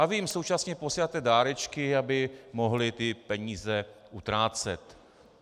A vy jim současně posíláte dárečky, aby mohli ty peníze utrácet.